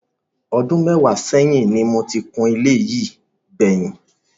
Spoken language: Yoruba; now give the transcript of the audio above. Ọdú mẹ́wàá ṣẹ́yìn ni mo ti kun ilé yìí gbẹ̀yìn.